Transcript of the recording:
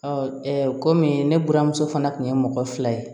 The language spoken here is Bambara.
komi ne buramuso fana tun ye mɔgɔ fila ye